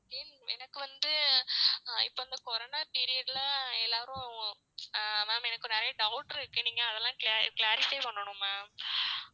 எனக்கு வந்து அஹ் இப்ப இந்த corona period ல எல்லாரும் அஹ் ma'am எனக்கு நிறைய doubt இருக்கு நீங்க அதெல்லாம் clarify பண்ணனும் ma'am